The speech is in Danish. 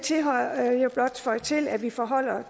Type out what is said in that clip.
blot føje til at det forholder